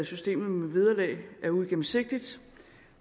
systemet med vederlag er uigennemsigtigt